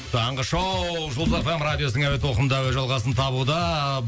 таңғы шоу жұлдыз эф эм радиосының әуе толқынында өз жалғасын табуда